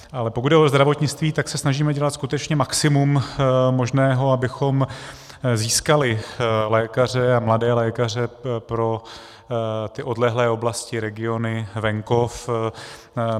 Ale pokud jde o zdravotnictví, tak se snažíme dělat skutečně maximum možného, abychom získali lékaře, a mladé lékaře, pro ty odlehlé oblasti, regiony, venkov.